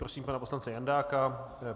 Prosím pana poslance Jandáka.